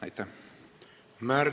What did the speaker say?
Selle heakskiidu ma ka sain.